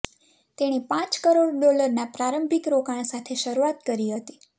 તેણે પાંચ કરોડ ડોલરના પ્રારંભિક રોકાણ સાથે શરૂઆત કરી હતી